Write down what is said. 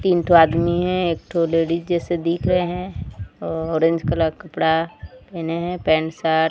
तीन ठो आदमी है एक ठो लेडिस जैसे दिख रहे हैं ऑरेंज कलर का कपड़ा पहने हैं पैंट शर्ट --